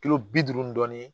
Kilo bi duuru dɔɔnin